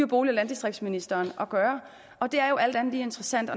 bolig og landdistriktsministeren at gøre og det er jo alt andet lige interessant